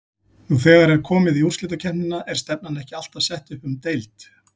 Nú þegar er komið í úrslitakeppnina er stefnan ekki alltaf sett upp um deild?